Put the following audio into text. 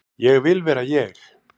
Ég vil vera ég.